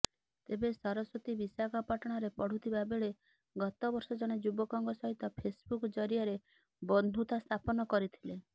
ତେବେ ସରସ୍ୱତୀ ବିଶାଖାପାଟଣାରେ ପଢ଼ୁଥିବା ବେଳେ ଗତବର୍ଷ ଜଣେ ଯୁବକଙ୍କ ସହିତ ଫେସବୁକ୍ ଜରିଆରେ ବନ୍ଧୁୁତା ସ୍ଥାପନ କରିଥିଲେ